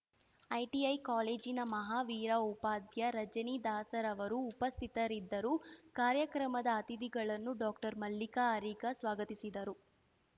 ITI ಕಾಲೇಜಿನ ಮಹಾವೀರ ಉಪಾದ್ಯ ರಜನಿ ದಾಸ ರವರು ಉಪಸ್ಥಿತರಿದ್ದರು ಕಾರ್ಯಕ್ರಮದ ಅತಿಥಿಗಳನ್ನು ಡಾಕ್ಟರ್ ಮಲ್ಲಿಕಾ ಅರಿಗಾ ಸ್ವಾಗತಿಸಿದರು